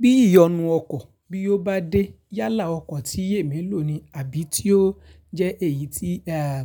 Bí ìyọnu ọkọ̀ bí ó bá dé yálà ọkọ̀ tí èmi lò ni àbí tí ó jẹ́ èyí tí